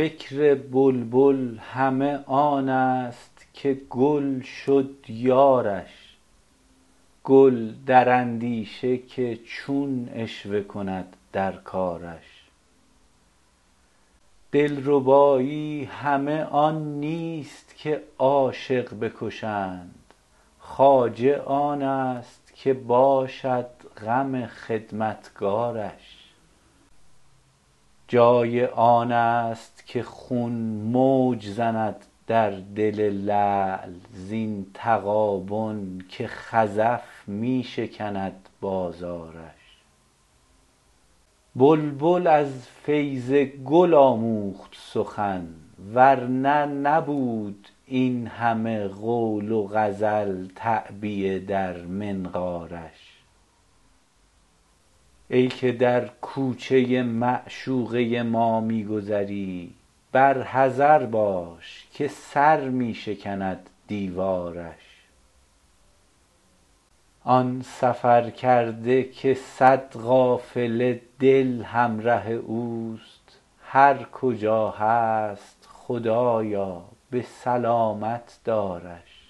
فکر بلبل همه آن است که گل شد یارش گل در اندیشه که چون عشوه کند در کارش دلربایی همه آن نیست که عاشق بکشند خواجه آن است که باشد غم خدمتکارش جای آن است که خون موج زند در دل لعل زین تغابن که خزف می شکند بازارش بلبل از فیض گل آموخت سخن ور نه نبود این همه قول و غزل تعبیه در منقارش ای که در کوچه معشوقه ما می گذری بر حذر باش که سر می شکند دیوارش آن سفرکرده که صد قافله دل همره اوست هر کجا هست خدایا به سلامت دارش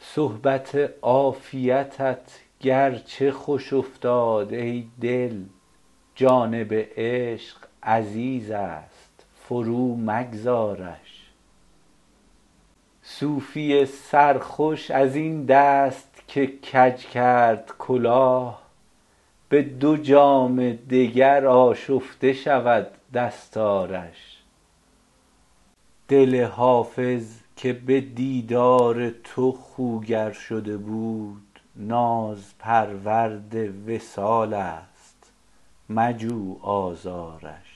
صحبت عافیتت گرچه خوش افتاد ای دل جانب عشق عزیز است فرومگذارش صوفی سرخوش از این دست که کج کرد کلاه به دو جام دگر آشفته شود دستارش دل حافظ که به دیدار تو خوگر شده بود نازپرورد وصال است مجو آزارش